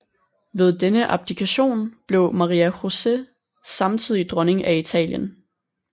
Ved denne abdikation blev Maria José samtidig dronning af Italien